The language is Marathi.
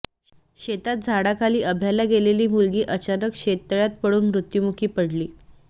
शेतात झाडाखाली अभ्याला गेलेली मुलगी अचानक शेततळ्यात पडून मृत्यूमुखी पडली